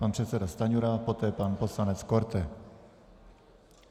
Pan předseda Stanjura, poté pan poslanec Korte.